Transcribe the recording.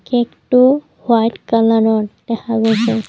কেকটো সোৱাদ কালাৰৰ দেখা গৈছে।